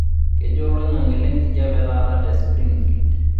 kejaa olaing'ang'e le enkijape taata te springfield